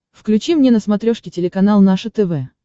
включи мне на смотрешке телеканал наше тв